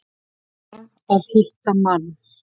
Þarf að hitta mann.